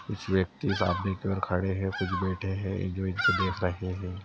कुछ व्यक्ति सामने की और खड़े हैं कुछ बैठे है जो इनको देख रहे हैं।